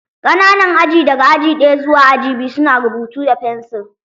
Ƙananan aji daga aji ɗaya zuwa aji biyu su na rubutu da fensir